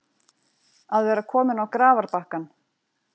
Að vera kominn á grafarbakkann